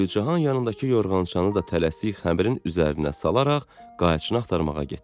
Gülcahan yanındakı yorğan-çanı da tələsik xəmirin üzərinə salaraq qayçını axtarmağa getdi.